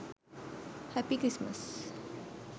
happy christmas